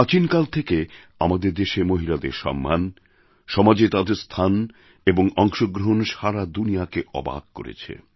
প্রাচীন কাল থেকে আমাদের দেশে মহিলাদের সম্মান সমাজে তাঁদের স্থান এবং অংশগ্রহণ সারা দুনিয়াকে অবাক করেছে